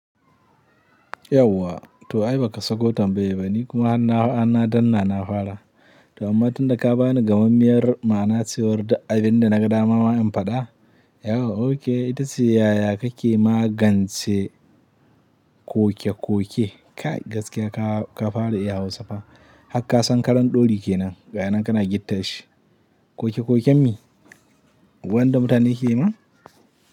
Yauwa to ai baka sako tambayar ba nikuma harna, harna danna nafara. To amma tunda ka bani gamammiyar ma'ana cewar duk abinda na ga dama ma in faɗa. Yauwa okay itace yaya kake magance koke-koke. Kai gaskiya ka, ka fara iya Hausa fa. Hakka san karan ɗori kenan, gayinan kana gitta shi. Koke-koken me? Wanda mutane ke yi ma?